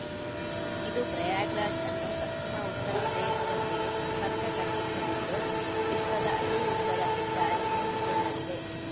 ಇದು ಪ್ರಯಾಗ್‌ರಾಜ್‌ ಅನ್ನು ಪಶ್ಚಿಮ ಉತ್ತರ ಪ್ರದೇಶದೊಂದಿಗೆ ಸಂಪರ್ಕ ಕಲ್ಪಿಸಲಿದ್ದು ವಿಶ್ವದ ಅತೀ ಉದ್ದದ ಹೆದ್ದಾರಿ ಎನಿಸಿಕೊಳ್ಳಲಿದೆ